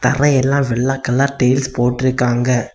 தர எல்லா வெள்ள கலர் டைல்ஸ் போட்டீர்க்காக.